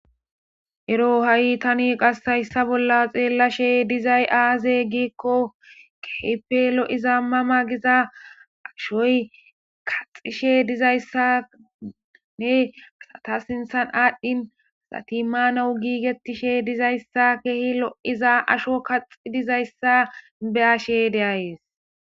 Ero qas tani haysa bolla xelashe dizays aze giiko kehipe lo'iza mama giza ashoy kaxishe dizayisa asata sinithe adhini asti mana gigetishe dizayisa kehi lo'iza ashoy kaxizayisa be'ashe dayis